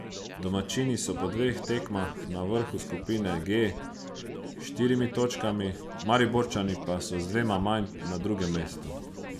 Domačini so po dveh tekmah na vrhu skupine G s štirimi točkami, Mariborčani pa so z dvema manj na drugem mestu.